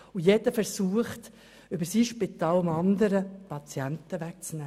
Zudem versucht jedes Spital dem andern Patienten wegzunehmen.